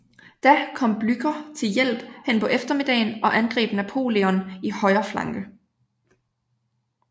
Da kom Blücher til hjælp hen på eftermiddagen og angreb Napoleon i højre flanke